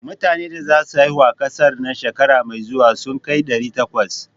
Metane da za su haihu a ƙasar nan shekara mai zuwa sun kai ɗari takwas.